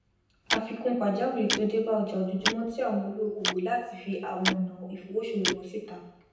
àfikún pàjáwìrì tí ó débá ojà ojojúmó ti áwon olùókówò láti fi àwon onà ìfowosòwò won sita